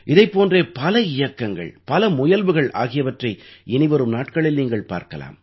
இதைப் போன்றே பல இயக்கங்கள் பல முயல்வுகள் ஆகியவற்றை இனிவரும் நாட்களில் நீங்கள் பார்க்கலாம்